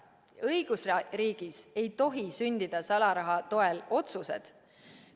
Õigusriigis ei tohi sündida salaraha toel tehtud otsused.